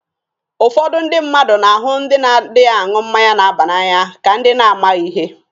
Ụfọdụ ndị mmadụ na-ahụ ndị na-adịghị aṅụ mmanya na-aba n'anya ka ndị na-amaghi ihe.